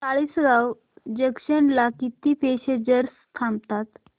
Chalisgaon junction ला किती passengers थांबतात